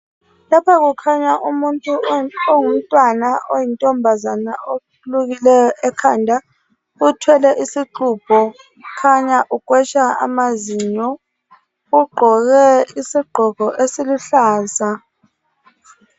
Lapha kukhanya umuntu ongumntwana oyintombazana olukileyo ekhanda, othwele isixubho, kukhanya ukwesha amazinyo, ugqoke isigqoko esiihluza.